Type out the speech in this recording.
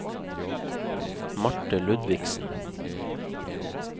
Marte Ludvigsen